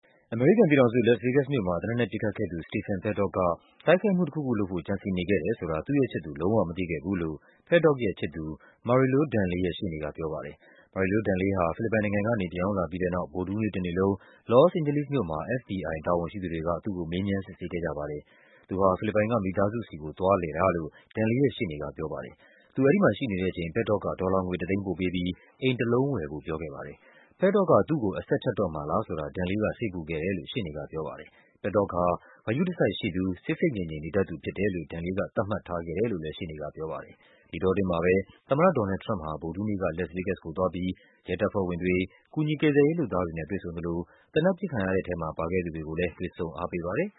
အမေရိကန်ပြည်ထောင်စု၊ လက်စ် ဗေးဂက်စ်မြို့မှာ သေနတ်နဲ့ပစ်ခတ်ခဲ့သူ Stephen Paddock က တိုက်ခိုက်မှုတခုခုလုပ်ဖို့ ကြံစည်နေခဲ့တယ်ဆိုတာ သူ့ရဲ့ချစ်သူ လုံး၀ မသိခဲ့ဘူးလို့ Paddock ရဲ့ချစ်သူ Marilou Danley ရဲ့ရှေ့နေကပြောပါတယ်။ Marilou Danley ဟာ ဖိလစ်ပိုင်နိုင်ငံကနေ ပြန်ရောက်လာပြီးတဲ့နောက် ဗုဒ္ဓဟူးနေ့ တနေ့လုံး လော့စ်အိန်ဂျလိစ်မြို့မှာ FBI တာဝန်ရှိသူတွေက သူ့ကို မေးမြန်း စစ်ဆေးခဲ့ ကြပါတယ်။ သူဟာ ဖိလစ်ပိုင်က မိသားစုဆီကို သွားလည်တာဖြစ်တယ်လို့ Danley ရဲ့ရှေ့နေက ပြောပါတယ်။ သူအဲဒီမှာရှိနေတဲ့အချိန် Paddock က ဒေါ်လာငွေ တသိန်းပို့ပေးပြီး အိမ်တလုံးဝယ်ဖို့ ပြောခဲ့ပါတယ်။ Paddock က သူ့ကို အဆက်ဖြတ်တော့မှာလားဆိုတာ Danley က စိတ်ပူခဲ့တယ်လို့ ရှေ့နေကပြောပါတယ်။ Paddock ဟာ ဂရု တစိုက်ရှိသူ၊ ဆိတ်ဆိတ်ငြိမ်ငြိမ် နေတတ်သူ ဖြစ်တယ်လို့ Danley က သတ်မှတ်ထားခဲ့တယ်လို့လဲ ရှေ့နေကပြောပါတယ်။ ဒီအတောအတွင်းမှာပဲ သမ္မတ Donald Trump ဟာ ဗုဒ္ဓဟူးနေ့က Las Vegas ကိုသွားပြီး ရဲတပ်ဖွဲ့ဝင်တွေ၊ ကူညီကယ်ဆယ်ရေး လုပ်သားတွေနဲ့ တွေ့ဆုံသလို သေနတ်ပစ်ခံ ရတဲ့ထဲမှာ ပါခဲ့သူတွေကိုလဲ တွေ့ဆုံအားပေးပါတယ်